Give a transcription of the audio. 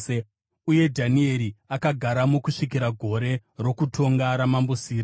Uye Dhanieri akagaramo kusvikira gore rokutonga raMambo Sirasi.